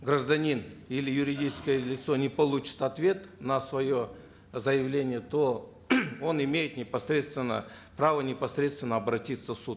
гражданин или юридическое лицо не получит ответ на свое заявление то он имеет непосредственно право непосредственно обратиться в суд